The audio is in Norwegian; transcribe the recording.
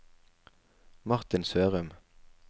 Martin Sørum